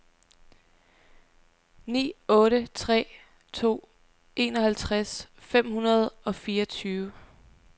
ni otte tre to enoghalvtreds fem hundrede og fireogtyve